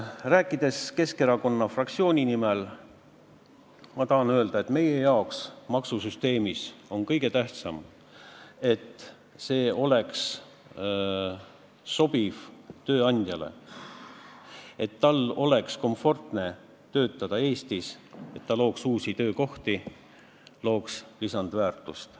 Rääkides Keskerakonna fraktsiooni nimel, ma tahan öelda, et meie jaoks on maksusüsteemi puhul kõige tähtsam, et see sobiks tööandjale ja et tal oleks komfortne töötada Eestis, et ta looks uusi töökohti, looks lisandväärtust.